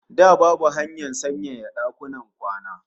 Da babu hanyar sanyaya dakunan kwana